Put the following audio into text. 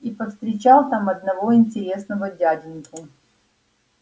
и повстречал там одного интересного дяденьку